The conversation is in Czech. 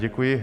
Děkuji.